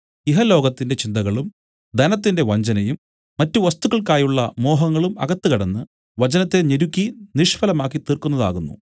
ഇഹലോകത്തിന്റെ ചിന്തകളും ധനത്തിന്റെ വഞ്ചനയും മറ്റു വസ്തുക്കൾക്കായുള്ള മോഹങ്ങളും അകത്ത് കടന്ന് വചനത്തെ ഞെരുക്കി നിഷ്ഫലമാക്കി തീർക്കുന്നതാകുന്നു